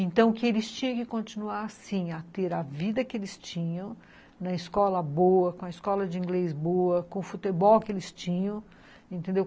Então, que eles tinham que continuar, sim, a ter a vida que eles tinham, na escola boa, com a escola de inglês boa, com o futebol que eles tinham, entendeu?